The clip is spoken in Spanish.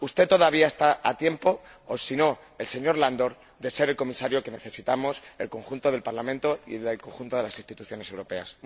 Usted todavía está a tiempo —o si no, el señor Andor— de ser el Comisario que necesitamos el conjunto del Parlamento y el conjunto de las instituciones europeas.